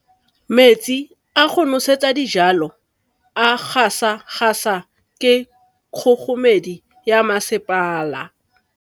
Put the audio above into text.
Metsi a go nosetsa dijalo a gasa gasa ke kgogomedi ya masepala.